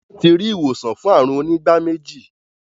Wón tí rí ìwòsàn fún àrùn onígbáméjì.